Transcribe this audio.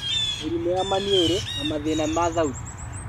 Mĩrimũ ya maniũrũ, na mathĩna ma thauti